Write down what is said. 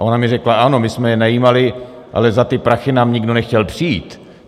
A ona mi řekla ano, my jsme je najímali, ale za ty prachy nám nikdo nechtěl přijít.